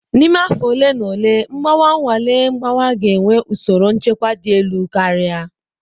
N'ime afọ ole na ole, Mgbawa-nnwale mgbawa ga-enwe usoro nchekwa dị elu karịa.